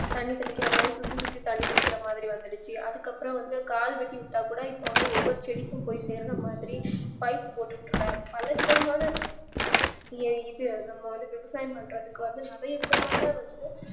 தண்ணி தெளிக்கிறமாறி சுத்தி சுத்தி தண்ணி தெளிக்கிரமாறி வந்துடுச்சு அதுக்குஅப்றம் வந்து கால் வெட்டி விட்டாக்குட இப்போ வந்து ஒவ்வொரு செடிக்கும் போய் சேற்றமாதிரி pipe போட்டு விட்டுறாங்க பலவிதமான இது நம்ம வந்து விவசாயம் பண்றதுக்கு வந்து நறைய விதமான வந்து